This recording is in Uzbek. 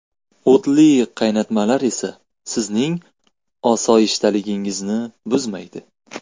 O‘tli qaynatmalar esa sizning osoyishtaligingizni buzmaydi.